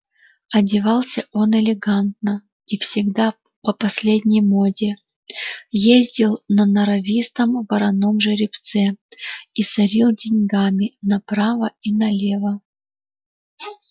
одевался он элегантно и всегда по последней моде ездил на норовистом вороном жеребце и сорил деньгами направо и налево